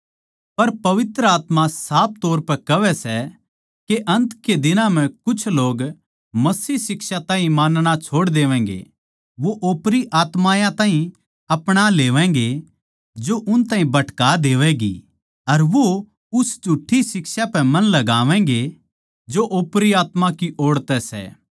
पर पवित्र आत्मा साफ तौर पै कहवै सै के अन्त के दिनां म्ह कुछ लोग मसीह शिक्षा ताहीं मानना छोड़ देवैगें वो ओपरी आत्मायाँ ताहीं अपणा लेवैंगे जो उन ताहीं भटका देवैगें अर वो उन झुठ्ठी शिक्षायाँ पै मन लगावैंगे जो ओपरी आत्मा की ओड़ तै सै